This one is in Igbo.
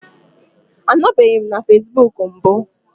Anọbeghị m na facebook mbụ